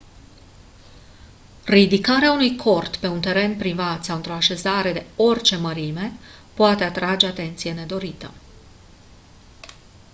ridicarea unui cort pe un teren privat sau într-o așezare de orice mărime poate atrage atenție nedorită